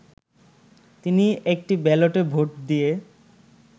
তিনি একটি ব্যালটে ভোট দিয়ে